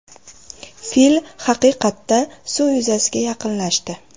Fil haqiqatda suz yuzasiga yaqinlashdi.